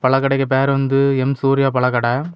பழக்கடைக்கு பெயர் வந்து எம் சூர்யா பழக்கடெ.